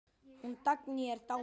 Hún Dagný er dáin.